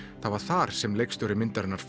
það var þar sem leikstjóri myndarinnar